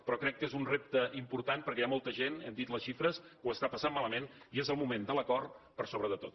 però crec que és un repte important perquè hi ha molta gent n’hem dit les xifres que ho està passant malament i és el moment de l’acord per sobre de tot